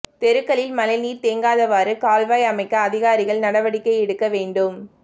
தெருக்களில் மழைநீா் தேங்காதவாறு கால்வாய் அமைக்க அதிகாரிகள் நடவடிக்கை எடுக்க வேண்டும்